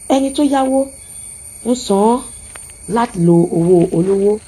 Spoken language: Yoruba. ẹni tó yáwó ń san án láti lo owó olówó